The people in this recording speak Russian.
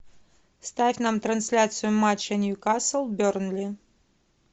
ставь нам трансляцию матча ньюкасл бернли